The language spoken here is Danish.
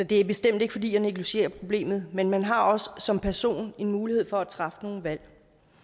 det er bestemt ikke fordi jeg negligerer problemet men man har også som person en mulighed for at træffe nogle valg